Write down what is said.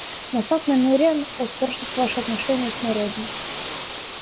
но сатт намерен испортить ваши отношения с народом